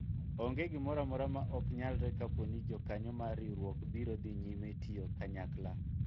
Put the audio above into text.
onge gimoro amora ma ok nyalre kapo ni jokanyo mar riwruok biro dhi nyime tiyo kanyakla